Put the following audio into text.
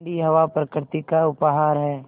ठण्डी हवा प्रकृति का उपहार है